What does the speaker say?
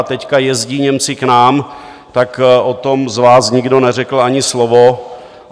A teď jezdí Němci k nám, tak o tom z vás nikdo neřekl ani slovo.